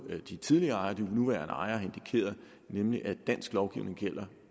de tidligere ejere og de nuværende ejere har indikeret nemlig at dansk lovgivning gælder